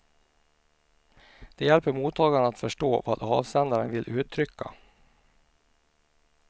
De hjälper mottagaren att förstå vad avsändaren vill uttrycka.